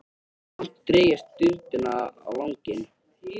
Samt dreg ég stundina á langinn.